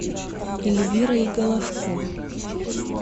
эльвирой головко